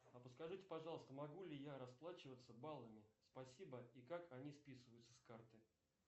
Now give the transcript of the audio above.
а подскажите пожалуйста могу ли я расплачиваться баллами спасибо и как они списываются с карты